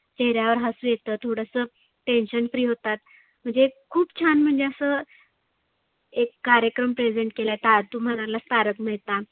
चेहऱ्या वर हसु येत थोडसं tension free होतात. म्हणजे खुप छान म्हणजे असं एक कार्यक्रम present केलाय. ता तु म्हणाला तारक मेहता